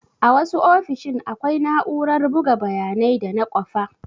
A wasu ofishin akwai na'urar buga bayanai da na kwafa.